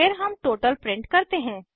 फिर हम total print करते हैं